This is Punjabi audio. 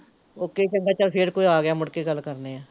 ਓਕੇ ਜੀ ਚੰਗਾ ਚੱਲ ਫਿਰ ਕੋਈ ਆ ਗਿਆ ਮੁੜ ਕੇ ਗੱਲ ਕਰਨੇ ਐ